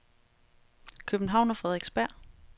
København og Frederiksberg